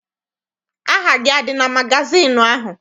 Aha gị adị na magazịịnụ ahụ?